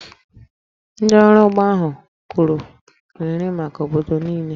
Ndị ọrụ ugbo ahụ kụrụ nri maka obodo niile